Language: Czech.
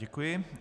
Děkuji.